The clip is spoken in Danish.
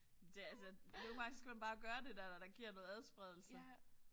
Det altså nogle gange skal man bare gøre det der der giver noget adspredelse